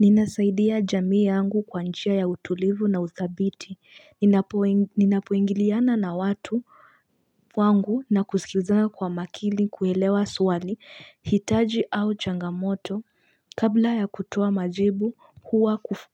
Ninasaidia jamii yangu kwa njia ya utulivu na uthabiti. Ninapoingiliana na watu wangu na kusikizana kwa makini kuelewa swali, hitaji au changamoto. Kabla ya kutoa majibu,